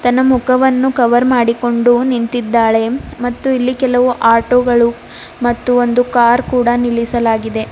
ತನ್ನ ಮುಖವನ್ನು ಕವರ್ ಮಾಡಿಕೊಂಡು ನಿಂತಿದ್ದಾಳೆ ಮತ್ತು ಇಲ್ಲಿ ಕೆಲವು ಆಟೋ ಗಳು ಮತ್ತು ಒಂದು ಕಾರ್ ನಿಲ್ಲಿಸಲಾಗಿದೆ.